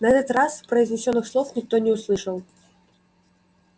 на этот раз произнесённых слов никто не услышал